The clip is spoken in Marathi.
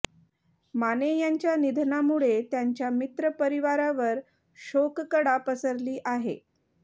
माने यांच्या निधनामुळे त्यांच्या मित्र परिवारावर शोककळा पसरली आहे